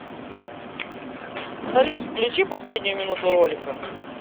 салют включи последнюю минуту ролика